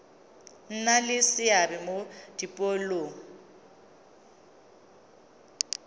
nna le seabe mo dipoelong